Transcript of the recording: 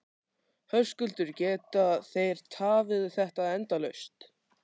Höskuldur: Geta þeir tafið þetta endalaust?